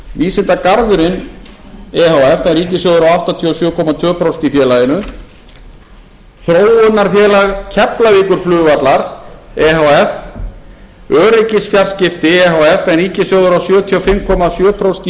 e h f en ríkissjóður á áttatíu og sjö komma tvö prósent í félaginu þróunarfélag keflavíkurflugvallar efh öryggis e h f en ríkissjóður á sjötíu og fimm komma sjö prósent